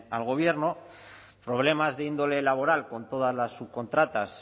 al gobierno problemas de índole laboral con todas las subcontratas